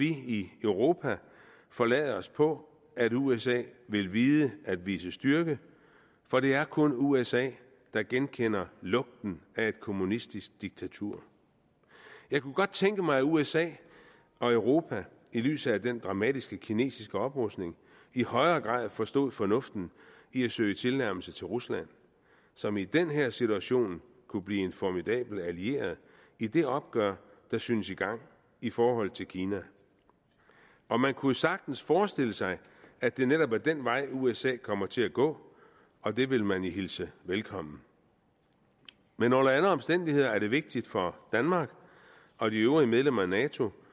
i europa forlade os på at usa vil vide at vise styrke for det er kun usa der genkender lugten af et kommunistisk diktatur jeg kunne godt tænke mig at usa og europa i lyset af den dramatiske kinesiske oprustning i højere grad forstod fornuften i at søge tilnærmelse til rusland som i den her situation kunne blive en formidabel allieret i det opgør der synes i gang i forhold til kina og man kunne jo sagtens forestille sig at det netop er den vej usa kommer til at gå og det vil man hilse velkommen men under alle omstændigheder er det vigtigt for danmark og de øvrige medlemmer af nato